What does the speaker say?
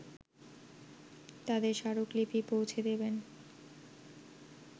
তাদের স্মারকলিপি পৌঁছে দেবেন